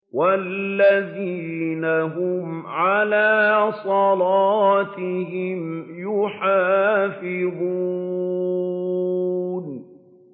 وَالَّذِينَ هُمْ عَلَىٰ صَلَاتِهِمْ يُحَافِظُونَ